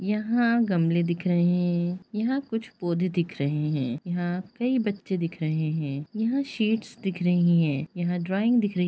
यहाँ गमले दिख रहे हैं यहाँ कुछ पौधे दिख रहे हैं यहाँ कई बच्चे दिख रहे हैं यहाँ शेड्स दिख रहे हैं यहाँ ड्रॉइंग दिख रही --